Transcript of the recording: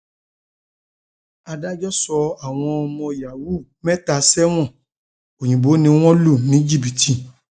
adájọ um sọ àwọn ọmọ yahoo um mẹta sẹwọn òyìnbó ni wọn lù ní jìbìtì